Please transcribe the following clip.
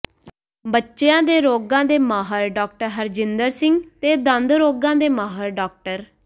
ਬੱਚਿਆਂ ਦੇ ਰੋਗਾਂ ਦੇ ਮਾਹਰ ਡਾ ਹਰਜਿੰਦਰ ਸਿੰਘ ਤੇ ਦੰਦ ਰੋਗਾਂ ਦੇ ਮਾਹਰ ਡਾ